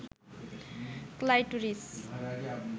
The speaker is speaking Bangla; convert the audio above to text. ক্লাইটোরিস